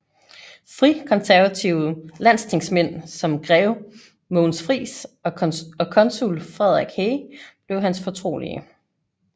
Frikonservative landstingsmænd som grev Mogens Frijs og konsul Frederik Hey blev hans fortrolige